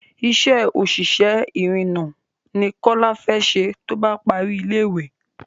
Isé òṣìṣẹ́ ìrììnà ni kọ́lá fẹ ṣe tóbá parí ilé ìwé